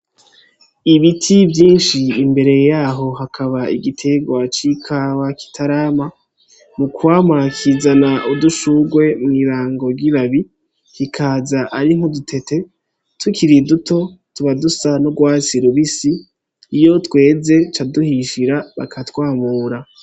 Ibiti vyinshi imbere yaho hakaba igiterwa c'ikawa kitarama, mu kwama kizana udushurwe mw'ibango ry'ibabi bikaza ari nk'udutete tukiri duto tuba dusa n'urwatsi rubisi, iyo tweze ca duhishira bakatwamura.